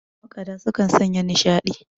makaɗa sukan Sanya nishaɗi